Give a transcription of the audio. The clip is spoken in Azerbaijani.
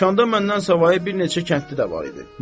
Dükanda məndən savayı bir neçə kəndli də var idi.